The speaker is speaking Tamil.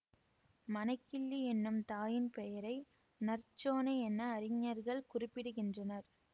மணக்கிள்ளி என்னும் தாயின் பெயரை நற்சோணை என அறிஞர்கள் குறிப்பிடுகின்றனர்